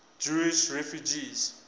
jewish refugees